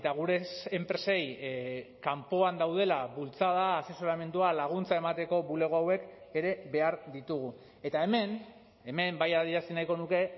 gure enpresei kanpoan daudela bultzada asesoramendua laguntza emateko bulego hauek ere behar ditugu eta hemen hemen bai adierazi nahiko nuke